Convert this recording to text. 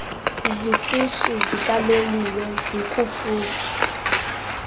zitishi zikaloliwe zikufuphi